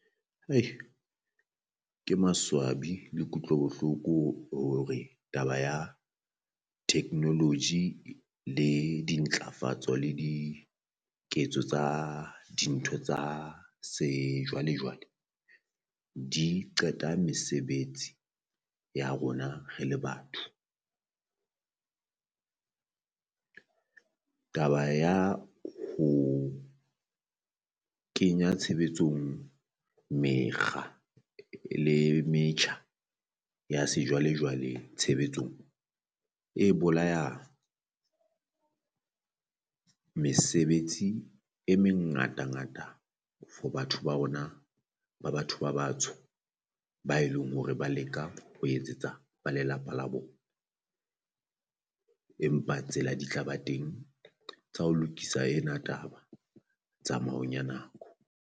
Ke maswabi le kutlo bohloko hore taba ya technology le dintlafatso le diketso tsa dintho tsa sejwalejwale di qeta mesebetsi ya rona re le batho. Taba ya ho kenya tshebetsong mekga le metjha ya sejwalejwale tshebetsong e bolaya mesebetsi e mengatangata for batho ba rona ba batho ba batsho, ba e leng hore ba leka ho etsetsa ba lelapa la bona empa tsela di tla ba teng tsa ho lokisa ena taba tsamaong ya nako.